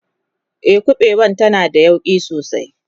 e ƙuɓewan tana da yauƙi sosai